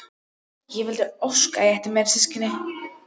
Ég vildi óska að ég ætti fleiri systkini.